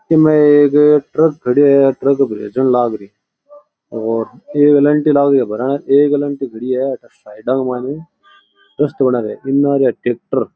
इ म एक ट्रक खड़ा है ट्रक भरण लाग रो है साइडा के मायने ट्रैक्टर --